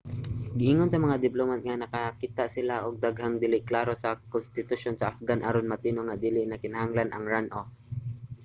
giingon sa mga diplomat nga nakakita sila og daghang dili klaro sa konstitusyon sa afghan aron matino nga dili na kinahanglan ang runoff